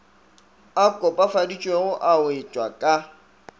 a kopafaditšwego a wetšwa ka